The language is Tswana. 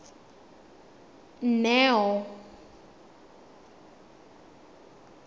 neo